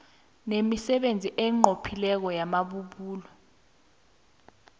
nemisebenzi enqophileko yamabubulo